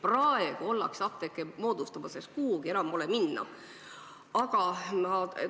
Praegu moodustatakse apteeke, sest kuhugi pole enam taganeda.